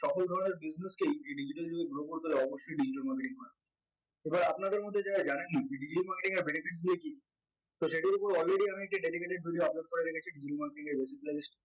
সকল ধরনের business কেই digital যুগে grow করতে হলে অবশ্যই digital marketing must এবার আপনাদের মধ্যে যারা জানেন না যে digital marketing এর benefit গুলা কি তো সেটার উপর already আমি একটা dedicated video upload করে রেখেছি digital marketing এর basic